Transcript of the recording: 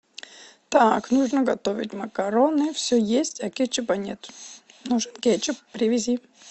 так нужно готовить макароны все есть а кетчупа нет нужен кетчуп привези